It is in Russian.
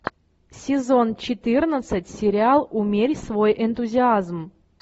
сезон четырнадцать сериал умерь свой энтузиазм